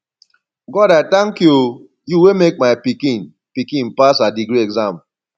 god i tank you o you wey make my pikin pikin pass her degree exam